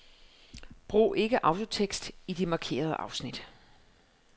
Brug ikke autotekst i de markerede afsnit.